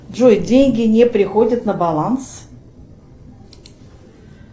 джой деньги не приходят на баланс